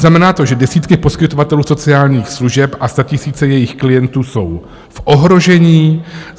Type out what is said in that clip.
Znamená to, že desítky poskytovatelů sociálních služeb a statisíce jejich klientů jsou v ohrožení.